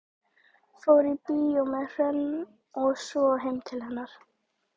Fór í bíó með Hrönn og svo heim til hennar.